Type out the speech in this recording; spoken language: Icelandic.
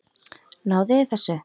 Náðuð þið þessu?